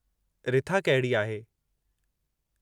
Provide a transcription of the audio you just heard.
रिथा कहिड़ी आहे?